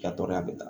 I ka dɔgɔya bɛ ta